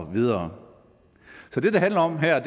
videre så det det handler om her